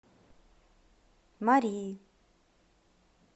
марии